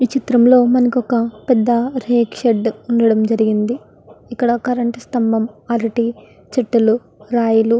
ఈ చిత్రం లో మనకొక పెద్ద రేకు షెడ్ వుండడం జరిగింది ఇక్కడ కరెంట్ స్తంభం అరటి చెట్టులు రాయిలు --